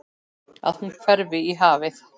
Að hún hverfi í hafið.